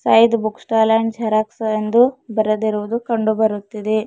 Syed book stall and xerox ಎಂದು ಬರೆದಿರುವುದು ಕಂಡು ಬರುತ್ತಿದೆ.